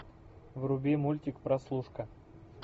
вруби мультик прослушка